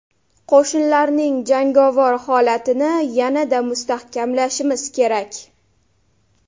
Qo‘shinlarning jangovar holatini yanada mustahkamlashimiz kerak.